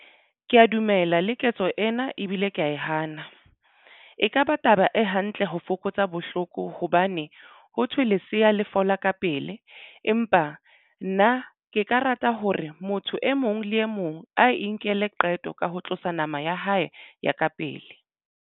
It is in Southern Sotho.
Ke ya dumela le ketso ena ebile ke ya e hana. E kaba taba e hantle ho fokotsa bohloko hobane ho thwe lesea le fola ka pele. Empa nna ke ka rata hore motho e mong le e mong a inkela qeto ka ho tlosa nama ya hae ya ka pele.